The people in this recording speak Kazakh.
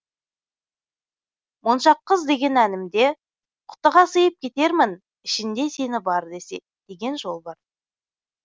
моншақ қыз деген әнімде құтыға сыйып кетермін ішінде сені бар десе деген жол бар